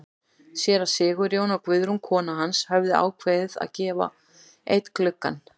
Séra Sigurjón og Guðrún kona hans höfðu ákveðið að gefa einn gluggann.